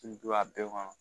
don a bɛɛ kɔnɔ